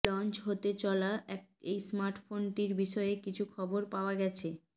launch হতে চলা এই স্মার্টফোনটির বিষয়ে কিছু খবর পাওয়া গেছে